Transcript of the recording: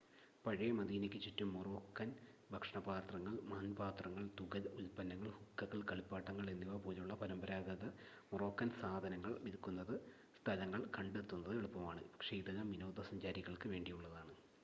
പഴയ മദീനയ്ക്ക് ചുറ്റും മോറോക്കാൻ ഭക്ഷണപാത്രങ്ങൾ മൺപാത്രങ്ങൾ തുകൽ ഉൽപ്പന്നങ്ങൾ ഹുക്കകൾ കളിപ്പാട്ടങ്ങൾ എന്നിവ പോലുള്ള പരമ്പരാഗത മൊറോക്കൻ സാധനങ്ങൾ വിൽക്കുന്ന സ്ഥലങ്ങൾ കണ്ടെത്തുന്നത് എളുപ്പമാണ് പക്ഷേ ഇതെല്ലാം വിനോദസഞ്ചാരികൾക്ക് വേണ്ടിയുള്ളതാണ്